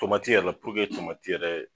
Tɔmati yɛrɛ la puruke tɔmati yɛrɛ